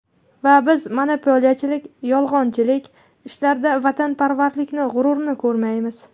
Va biz monopoliyachilik, yolg‘onchilik ishlarida vatanparvarlikni, g‘ururni ko‘rmaymiz.